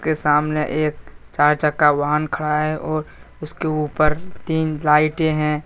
के सामने एक चार चक्का वाहन खड़ा है और उसके ऊपर तीन लाइटें हैं।